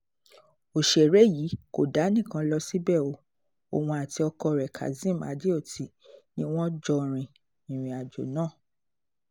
ọ̀sẹ̀rẹ̀ yìí kò dá nìkan lọ síbẹ̀ o òun àti ọkọ rẹ̀ kazeem adeoti ni wọ́n jọ rin ìrìn-àjò náà